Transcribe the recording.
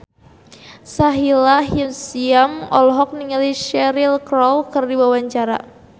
Sahila Hisyam olohok ningali Cheryl Crow keur diwawancara